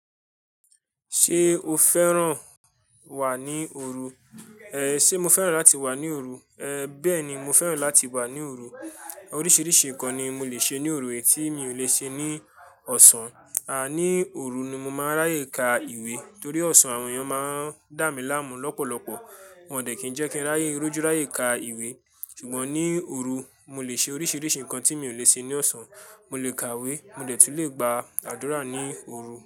Ṣé o fẹ́ràn wà ní òru? Ehn, ṣe mo fẹ́ràn láti wà ní òru? Ehn, bẹ́ẹ̀ni, mo fẹ́ràn láti wà ní òru. Oríṣiríṣi nǹkan ni mo lè ṣe ní òru tí mi ò lè ṣe ní ọ̀sán. Àní òru ni mo máa ń ráyè kà ìwé torí ọ̀sán àwọn èèyàn máa ń dà mí láàmú lọ́pọ̀lọpọ̀. Wọn ò dẹ̀ kí n jẹ́ kí n rọjú ráyè kà ìwé. Ṣùgbọ́n ní òru, mo lè ṣe oríṣiríṣi nǹkan tí mi ò lè ṣe ní ọ̀sán. Mo lè kàwé, mo dẹ̀ tún lè gba àdúrà ní òru.